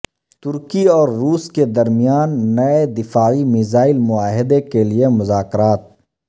ترکی اور روس کے درمیان نئے دفاعی میزائل معاہدے کے لیے مذاکرات